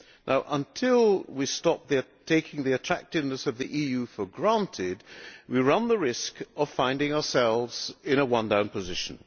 Now, until we stop them taking the attractiveness of the EU for granted, we run the risk of finding ourselves in a one down' position.